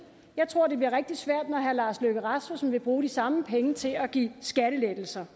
jeg tror det bliver rigtig svært når herre lars løkke rasmussen vil bruge de samme penge til at give skattelettelser